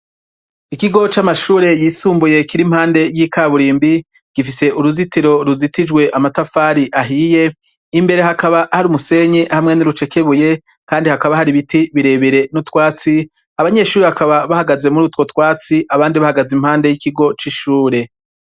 Ikigo c'amashure y'isumbuye kiri impande y'ikaburimbi, gifise uruzitiro ruzitijwe amatafari ahiye, imbere hakaba hari umusenyi hamwe nurucekebuye, kandi hakaba hari ibiti birebire n'utwatsi, abanyeshure bakaba bahagaze murutwo twatsi abandi bahagaze impande y'ikigo c'ishure.